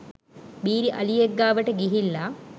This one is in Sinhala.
බීරි අලියෙක් ගාවට ගිහිල්ල